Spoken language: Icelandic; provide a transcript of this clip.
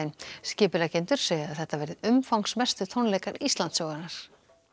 skipuleggjendur segja að þetta verði umfangsmestu tónleikar Íslandssögunnar